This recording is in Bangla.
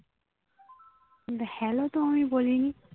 hello তো আমি বলিনি